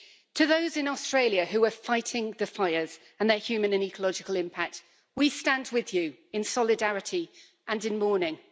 To those in Australia who are fighting the fires and their human and ecological impact, we stand with you in solidarity and in mourning.